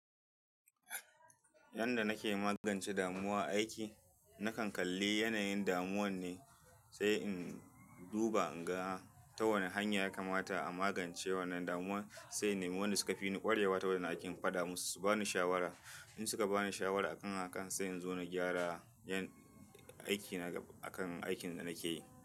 Yanda nake magance damuwa aiki, na kan kalli yanayin damuwan ne, sai in duba in ga ta wane hanya ya kamata a magance wannan damuwa. Sai im naimi wanda suka fi ni ƙwarewa ta wannan aikin, na faɗa musu su ba ni shawara. In suka ba ni shawara akan hakan, sai in zo na gyara aiki na akan aikin da nake yi.